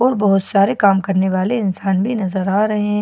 और बहोत सारे काम करने वाले इंसान भी नजर आ रहे--